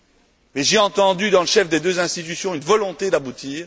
Mais j'ai entendu dans le chef des deux institutions une volonté d'aboutir.